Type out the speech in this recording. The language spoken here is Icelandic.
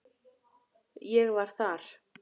Ég var þar.